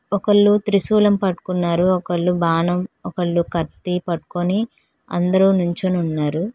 ఒకళ్ళు త్రిశూలం పట్టుకున్నారు ఒకళ్ళు బాణం ఒకళ్ళు కత్తి పట్టుకొని అందరూ నుంచొని ఉన్నారు.